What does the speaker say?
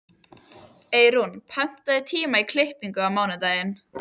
Eyrún, pantaðu tíma í klippingu á mánudaginn.